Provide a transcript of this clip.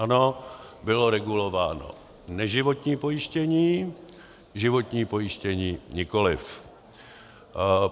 Ano, bylo regulováno neživotní pojištění, životní pojištění nikoliv.